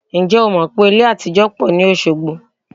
Ǹjẹ́ o mọ̀ wípé ilé àtijó pọ̀ ní ìlú Osogbo?